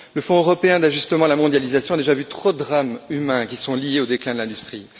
Le Fonds européen d'ajustement à la mondialisation a déjà vu trop de drames humains qui sont liés au déclin de l'industrie.